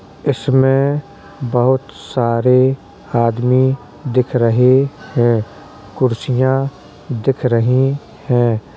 इसमें बहुत सारे आदमी दिख रहे है। कुर्सियाँ दिख रही हैं।